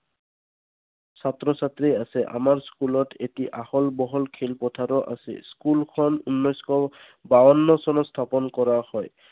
ছাত্ৰ ছাত্ৰী আছে। আমাৰ school ত এটি আহল বহল খেল পথাৰো আছে। school খন উনৈছশ বাৱন্ন চনত স্থাপন কৰা হয়।